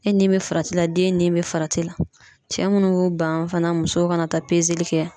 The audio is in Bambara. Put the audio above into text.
E ni be farati la , den ni be farati la. Cɛ munnu b'u ban fana musow ka na taa pezeli kɛ